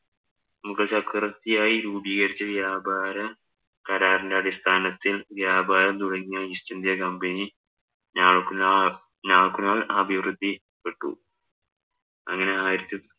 മുഗള്‍ചക്രവര്‍ത്തിയായി രൂപികരിച്ച വ്യാപരകരാറിന്‍റെ അടിസ്ഥാനത്തില്‍ വ്യാപാരം തുടങ്ങിയ East India Company നാള്‍ക്കു നാള്‍ നാള്‍ക്കു നാള്‍ അഭിവൃദ്ധി പെട്ടു.